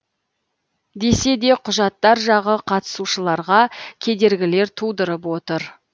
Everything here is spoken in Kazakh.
десе де құжаттар жағы қатысушыларға кедергілер тудырып отыр